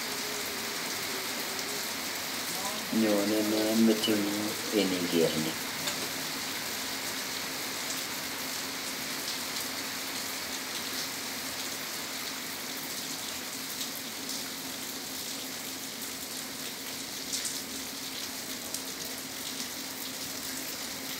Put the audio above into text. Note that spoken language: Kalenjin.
Nyone nee meting'ung' iniker ni?